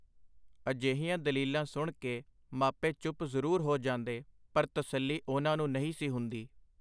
ਅਜਿਹੀਆਂ ਦਲੀਲਾਂ ਸੁਣ ਕੇ ਮਾਪੇ ਚੁੱਪ ਜ਼ਰੂਰ ਹੋ ਜਾਂਦੇ, ਪਰ ਤਸੱਲੀ ਉਹਨਾਂ ਨੂੰ ਨਹੀਂ ਸੀ ਹੁੰਦੀ.